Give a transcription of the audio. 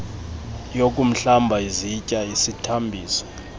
yokuhlamba izitya isithambisi